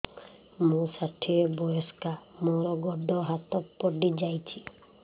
ମୁଁ ଷାଠିଏ ବୟସ୍କା ମୋର ଗୋଡ ହାତ ପଡିଯାଇଛି